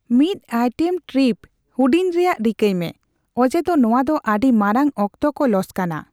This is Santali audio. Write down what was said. ᱢᱤᱫᱼᱟᱭᱴᱮᱢ ᱴᱨᱤᱯ ᱦᱩᱰᱤᱧ ᱨᱮᱭᱟᱜ ᱨᱤᱠᱟᱹᱭ ᱢᱮ, ᱚᱡᱮᱫᱚ ᱱᱚᱣᱟ ᱫᱚ ᱟᱰᱤ ᱢᱟᱨᱟᱝ ᱚᱠᱛᱚ ᱠᱚ ᱞᱚᱥᱠᱟᱱᱟ ᱾